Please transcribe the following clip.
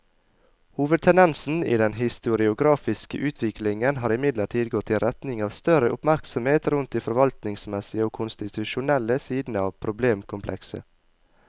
Hovedtendensen i den historiografiske utviklingen har imidlertid gått i retning av større oppmerksomhet rundt de forvaltningsmessige og konstitusjonelle sidene av problemkomplekset.